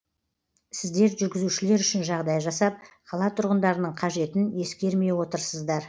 сіздер жүргізушілер үшін жағдай жасап қала тұрғындарының қажетін ескермей отырсыздар